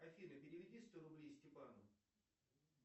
афина переведи сто рублей степану